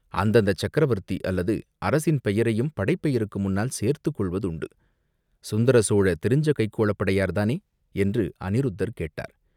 அந்தந்தச் சக்கரவர்த்தி அல்லது அரசரின் பெயரையும் படைப்பெயருக்கு முன்னால் சேர்த்துக் கொள்வதுண்டு. சுந்தர சோழ தெரிஞ்ச கைக்கோளப் படையார் தானே என்று அநிருத்தர் கேட்டார்.